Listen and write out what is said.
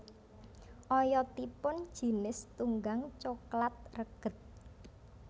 Oyotipun jinis tunggang coklat reged